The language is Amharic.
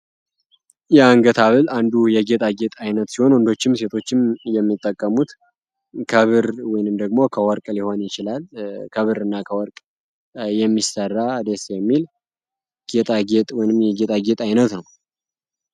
የአንገት ብል አንዱ የጌጣ ጌጥ አይነት ሲሆን ወንዶችም ሴቶችም የሚጠቀሙት ከብር ውንም ደግሞ ከወርቅ ሊሆን ይችላል ከብር እና ከወርቅ የሚሰራ ዴስ ሚል ጌጣ ጌጥ ወንም የጌጣ ጌጥ አይነት ነው፡፡